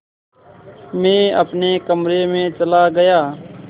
मैं अपने कमरे में चला गया